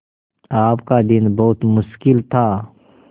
आपका दिन बहुत मुश्किल था